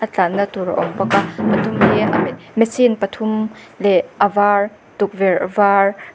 a tlanna tur a awm bawk a a dum hi machine pathum leh a var tukverh var--